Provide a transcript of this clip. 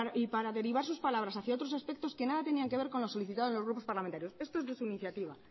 y para derivar sus palabras hacia otros aspectos que nada tenían que ver con lo solicitado en los grupos parlamentarios esto es de su iniciativa